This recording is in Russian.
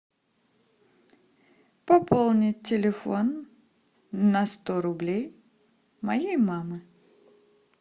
пополнить телефон на сто рублей моей мамы